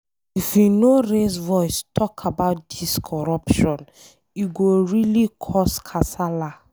If we no raise voice talk about dis corruption,e go really cos kasala.